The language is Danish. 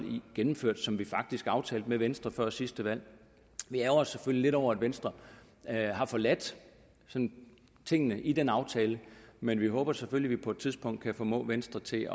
gennemført som vi faktisk aftalte med venstre før sidste valg vi ærgrer os selvfølgelig lidt over at venstre har forladt tingene i den aftale men vi håber selvfølgelig på et tidspunkt kan formå venstre til